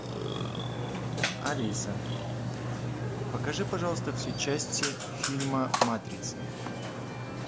алиса покажи пожалуйста все части фильма матрица